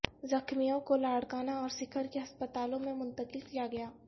زخمیوں کو لاڑکانہ اور سکھر کے ہسپتالوں میں منتقل کیا گیا ہے